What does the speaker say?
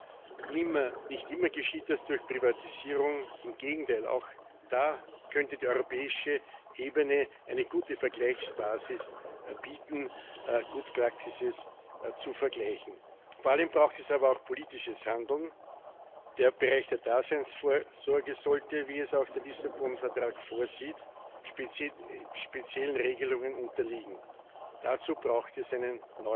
Pflicht. Wir wollen den nationalen Gesetzgeber durch ein Angebot entsprechend stärken, indem wir einen europäischen Binnenmarkt mit seriösen Produkten aufbauen. Inwieweit diese Produkte dann genutzt werden, ist Sache der nationalen Politik, aber